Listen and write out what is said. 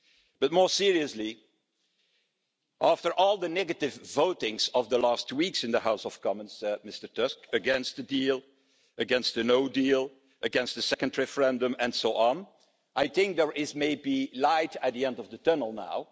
But, more seriously, after all the negative voting of the last two weeks in the House of Commons against the deal, against the no deal, against the second referendum, and so on I think there may be light at the end of the tunnel now.